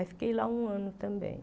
Aí fiquei lá um ano também.